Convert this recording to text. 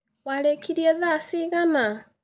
Warĩkirie thaa cigana?